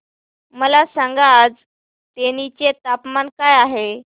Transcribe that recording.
मला सांगा आज तेनी चे तापमान काय आहे